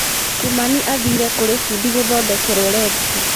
Kimani aathire kũrĩ bundi gũthondekerwo redio.